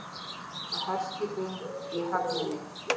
Og herskipið í höfninni.